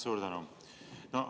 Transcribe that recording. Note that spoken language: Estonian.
Suur tänu!